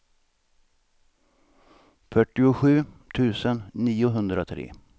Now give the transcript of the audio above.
fyrtiosju tusen niohundratre